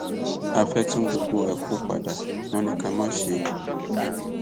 a fẹẹ tún gbogbo ẹ kó padà wọn ní ká má ṣe é